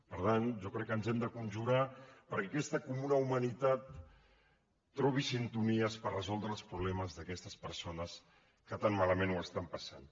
per tant jo crec que ens hem de conjurar perquè aquesta comuna humanitat trobi sintonies per resoldre els problemes d’aquestes persones que tan malament ho estan passant